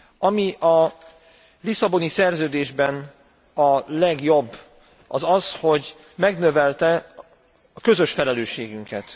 Ami a Lisszaboni Szerződésben a legjobb az az, hogy megnövelte a közös felelősségünket.